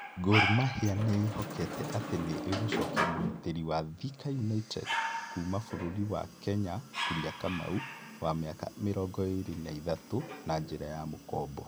Gor Mahia nĩ ĩĩhokete atĩ nĩ ĩgũcokia mũgitĩri wa Thika United kuuma bũrũri wa Kenya Kuria Kamau, wa mĩaka mĩrongo ĩrĩ na ithatũ, na njĩra ya mũkobo.